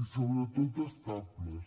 i sobretot estables